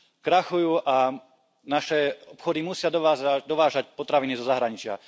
Krachujú a naše obchody musia dovážať potraviny zo zahraničia.